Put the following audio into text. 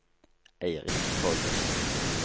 Eirik Torgersen